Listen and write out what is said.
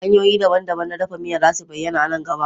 Hanyoyi daban-daban na dafa miya za su bayyana a nan gaba.